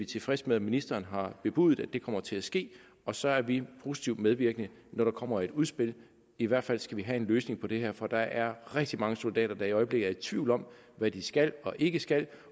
tilfredse med at ministeren har bebudet at det kommer til at ske og så er vi positivt medvirkende når der kommer et udspil i hvert fald skal vi have en løsning på det her for der er rigtig mange soldater der i øjeblikket er i tvivl om hvad de skal og ikke skal